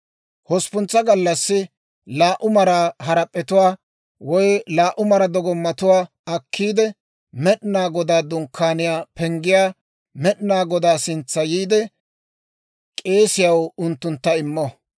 Hosppuntsa gallassi laa"u maraa harap'p'etuwaa woy laa"u mara dogomattuwaa akkiide, Med'inaa Godaa Dunkkaaniyaa penggiyaa Med'inaa Godaa sintsa yiide, k'eesiyaw unttuntta immo.